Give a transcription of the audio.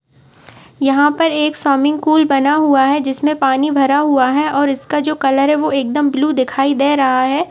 यहाँं पर एक सोमीग कुल पर बना हुआ है। जिसमें पानी भरा हुआ और इसका जो कलर एकदम ब्लू दिखाई दे रहा है।